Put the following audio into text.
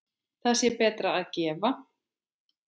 Þá sé betra að gefa.